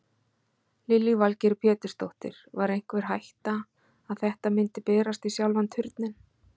Lillý Valgerður Pétursdóttir: Var einhver hætta að þetta myndi berast í sjálfan Turninn?